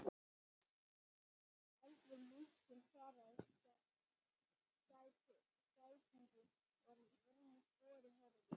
Eldri munkurinn svaraði skætingi og var að vörmu spori horfinn.